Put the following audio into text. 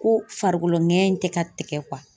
Ko farikolo ŋɛɲɛ in tɛ ka tigɛ